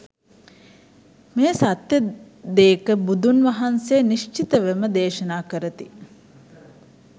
මේ සත්‍ය දේක බුදුන් වහන්සේ නිශ්චිතවම දේශනා කරති.